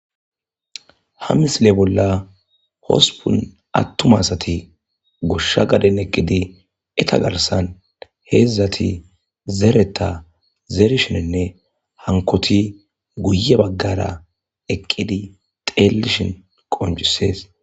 ha misile bolla hosupun attum asati goshsha gaden eqqidi eta garsan heedzdzati zeereta zeerishinenne hankoti guye baggara eqqidi xeellishin qoncisees